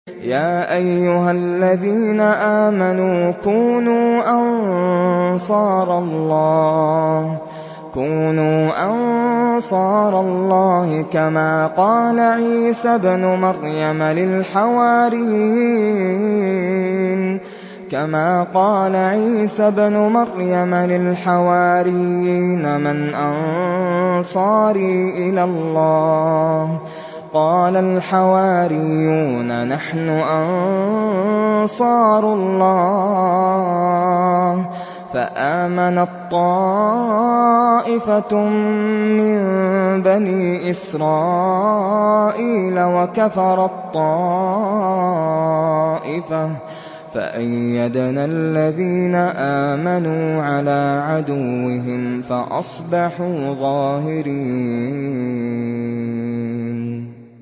يَا أَيُّهَا الَّذِينَ آمَنُوا كُونُوا أَنصَارَ اللَّهِ كَمَا قَالَ عِيسَى ابْنُ مَرْيَمَ لِلْحَوَارِيِّينَ مَنْ أَنصَارِي إِلَى اللَّهِ ۖ قَالَ الْحَوَارِيُّونَ نَحْنُ أَنصَارُ اللَّهِ ۖ فَآمَنَت طَّائِفَةٌ مِّن بَنِي إِسْرَائِيلَ وَكَفَرَت طَّائِفَةٌ ۖ فَأَيَّدْنَا الَّذِينَ آمَنُوا عَلَىٰ عَدُوِّهِمْ فَأَصْبَحُوا ظَاهِرِينَ